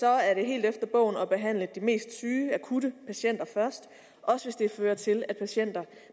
er det helt efter bogen at behandle de mest syge akutte patienter først også hvis det fører til at patienter